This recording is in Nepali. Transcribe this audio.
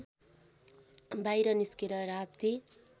बाहिर निस्केर राप्ती